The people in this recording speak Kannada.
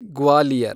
ಗ್ವಾಲಿಯರ್